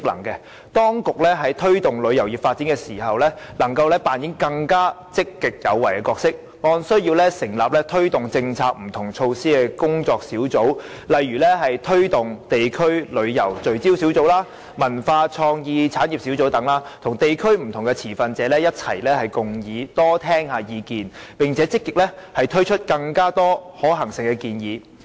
此外，在推動旅遊業發展時，當局可扮演更積極有為的角色，按需要成立工作小組推動各項政策和措施，例如成立推動地區旅遊聚焦小組、文化創意產業小組等，與地區及不同持份者共議，多聆聽意見，並積極提出更多可行性的建議。